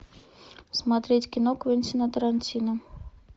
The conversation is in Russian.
смотреть кино квентина тарантино